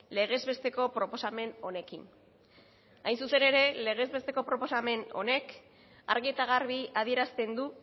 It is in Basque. legez besteko proposamen honekin hain zuzen ere legez besteko proposamen honek argi eta garbi adierazten du